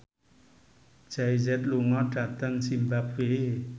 Jay Z lunga dhateng zimbabwe